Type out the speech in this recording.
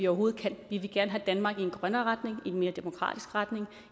overhovedet kan vi vil gerne have danmark i en grønnere retning i en mere demokratisk retning og